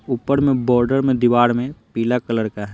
ऊपर में बॉर्डर में दीवार में पीला कलर का है।